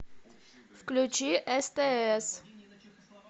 включи стс